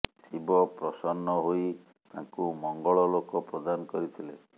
ଶିବ ପ୍ରସନ୍ନ ହୋଇ ତାଙ୍କୁ ମଙ୍ଗଳ ଲୋକ ପ୍ରଦାନ କରିଥିଲେ